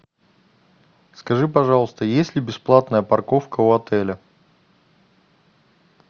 скажи пожалуйста есть ли бесплатная парковка у отеля